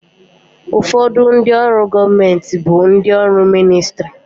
Ụfọdụ ndị ọrụ gọọmenti bụ ndị ọrụ ministrị